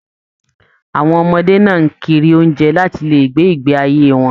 Àwọn ọmọdé náà n kiri oúnjẹ láti lè gbé ìgbé ayé wọn.